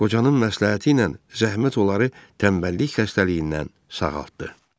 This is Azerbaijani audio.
Qocanın məsləhəti ilə zəhmət onları tənbəllik xəstəliyindən sağaltdı.